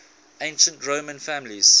ancient roman families